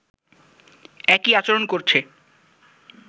একই আচরণ করছে